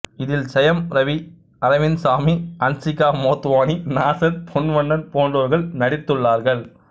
இதில் செயம் ரவி அரவிந்த் சாமி அன்சிகா மோட்வானி நாசர் பொன்வண்ணன் போன்றோர் நடித்துள்ளார்கள்